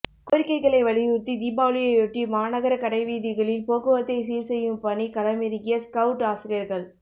கோரிக்கைகளை வலியுறுத்தி தீபாவளியையொட்டி மாநகர கடைவீதிகளில் போக்குவரத்தை சீர்செய்யும் பணி களமிறங்கிய ஸ்கவுட் ஆசிரியர்கள்